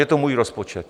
Je to můj rozpočet.